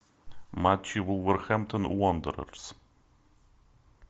матчи вулверхэмптон уондерерс